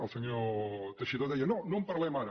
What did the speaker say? el senyor teixidó deia no no en parlem ara